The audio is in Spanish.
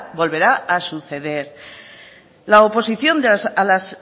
volverá a suceder la oposición a las